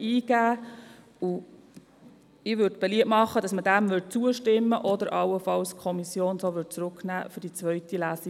Ich möchte beliebt machen, diesem Antrag zuzustimmen oder allenfalls, dass die Kommission dies zurücknimmt zwecks Beratung hinsichtlich der zweiten Lesung.